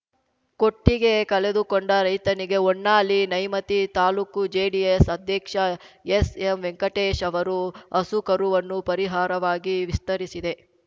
ಕೊಟ್ಟಿಗೆ ಕಳೆದುಕೊಂಡ ರೈತನಿಗೆ ಹೊನ್ನಾಳಿನ್ಯಾಮತಿ ತಾಲೂಕು ಜೆಡಿಎಸ್‌ ಅಧ್ಯಕ್ಷ ಎಸ್‌ಎಂವೆಂಕಟೇಶ್‌ ಅವರು ಹಸು ಕರುವನ್ನು ಪರಿಹಾರವಾಗಿ ವಿಸ್ತರಿಸಿದೆ